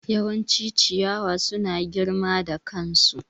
Yawancin ciyawa suna girma da kansu.